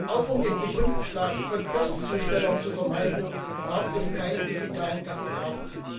Auch um den Sekundenschlaf von Postzustellern zu vermeiden, braucht es keine digitalen Tachografen.